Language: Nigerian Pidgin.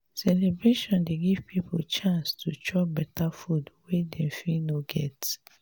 celebration dey give pipo chance to chop beta food wey dem fit no get.